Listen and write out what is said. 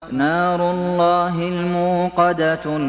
نَارُ اللَّهِ الْمُوقَدَةُ